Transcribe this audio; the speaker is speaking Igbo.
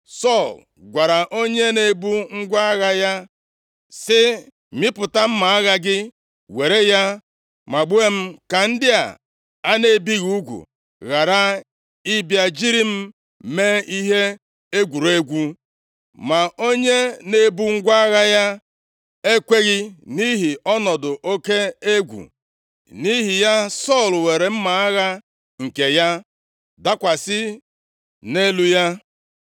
Sọl gwara onye na-ebu ngwa agha ya, sị, “Mịpụta mma agha gị, were ya magbuo m ka ndị a a na-ebighị ugwu ghara ịbịa jiri m mee ihe egwuregwu.” Ma onye na-ebu ngwa agha ya ekweghị, nʼihi ọnọdụ oke egwu. Nʼihi ya, Sọl were mma agha nke ya, dakwasị nʼelu ya.